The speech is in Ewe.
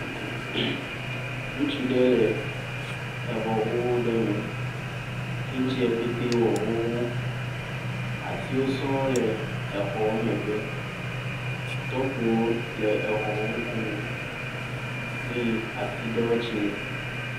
Ŋutsu ɖe le exɔ xoxo ɖe me. Kaŋtsia pɛtɛ wɔ xxoxo. Atiwo sɔŋ le exɔ megbe. Tɔkpo ɖe tse le exɔ ŋkume kple atsi ɖewo tse.